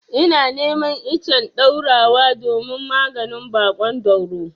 Ina neman icen ɗaurawa domin maganin baƙon dauro.